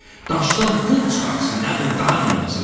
Daşdan pul çıxartsın, nə bilim, daha nə eləsin.